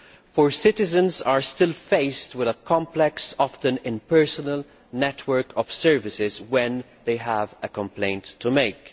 For citizens are still faced with a complex, and often impersonal, network of services when they have a complaint to make.